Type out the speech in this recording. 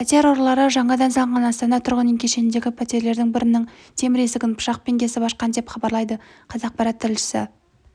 пәтер ұрылары жаңадан салынған астана тұрғын үй кешеніндегі пәтерлердің бірінің темір есігін пышақпен кесіп ашқан деп хабарлайды қазақпарат тілшісі